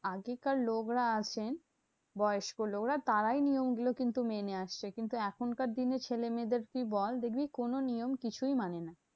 আগেকার লোকরা আছেন, বয়স্ক লোকরা তারাই নিয়ম গুলো কিন্তু মেনে আসতো। কিন্তু এখনকার দিনে ছেলেমেয়েদের তুই বল, দেখবি কোনো নিয়ম কিছুই মানে না।